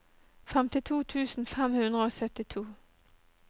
femtito tusen fem hundre og syttito